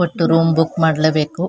ಒಟ್ಟು room book ಮಾಡ್ಲೇಬೇಕು.